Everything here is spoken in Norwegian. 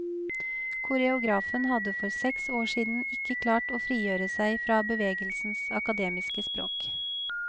Koreografen hadde for seks år siden ikke klart å frigjøre seg fra bevegelsens akademiske språk.